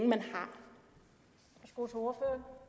man får